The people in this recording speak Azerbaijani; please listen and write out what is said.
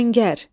Səngər.